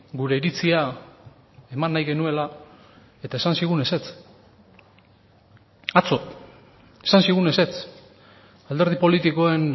gure iritzia eman nahi genuela eta esan zigun ezetz atzo esan zigun ezetz alderdi politikoen